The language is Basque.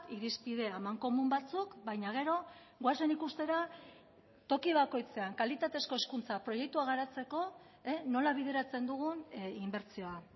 irizpide amankomun batzuk baina gero goazen ikustera toki bakoitzean kalitatezko hezkuntza proiektua garatzeko nola bideratzen dugun inbertsioa